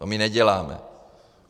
To my neděláme.